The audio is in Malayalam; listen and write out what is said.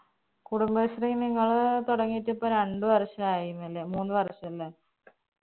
കുടുംബശ്രീ നിങ്ങള് തുടങ്ങിയിട്ടിപ്പോ രണ്ട്‌ വർഷായിനല്ലേ മൂന്ന് വര്ഷല്ലേ